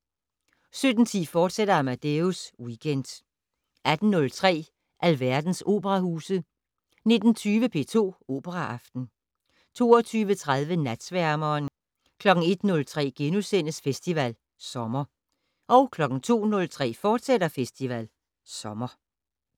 17:10: Amadeus Weekend, fortsat 18:03: Alverdens operahuse 19:20: P2 Operaaften 22:30: Natsværmeren 01:03: Festival Sommer * 02:03: Festival Sommer, fortsat